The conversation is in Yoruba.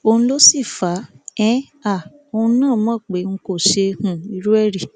òun ló sì fà um á òun náà mọ pé n kò ṣe um irú ẹ rí